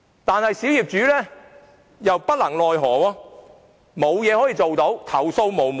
可是，小業主又莫奈何，不能做任何事，投訴無門。